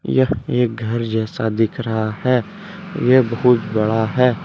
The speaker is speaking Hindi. यह एक घर जैसा दिख रहा है यह बहुत बड़ा है।